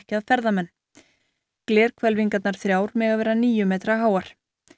að ferðamenn þrjár mega vera níu metra háar